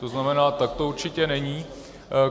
To znamená, tak to určitě není.